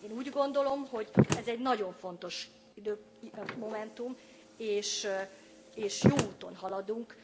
Én úgy gondolom, hogy ez egy nagyon fontos momentum, és jó úton haladunk.